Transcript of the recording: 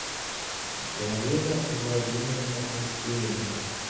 галина владимировна алексеенко